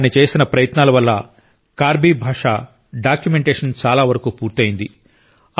ఆయన చేసిన ప్రయత్నాల వల్ల కార్బీ భాష డాక్యుమెంటేషన్ చాలావరకు పూర్తయింది